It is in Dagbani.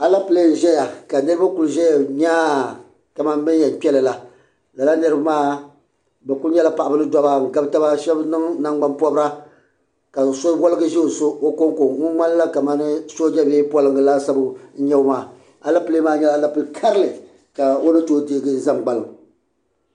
Alɛpilɛ n ʒɛya ka niriba ku zaya nyaa ka mani bin yɛn kpeli la lala niriba bi ku nyɛla paɣaba ni dɔbba n gabi taba shɛba niŋ nangbanpɔbira ka so waligi ʒɛ o konko ŋun ŋmani la ka mani sooja bee polinga laasabu n nyɛ o maa alɛpilɛ maa nyɛla alɛpilɛ karili ka o ni tooyi deegi zan gbaliŋ.